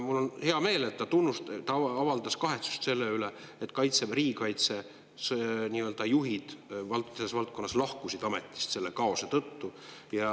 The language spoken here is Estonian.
Mul on hea meel, et ta avaldas kahetsust selle üle, et Kaitseväe, riigikaitse juhid lahkusid ametist selle kaose tõttu.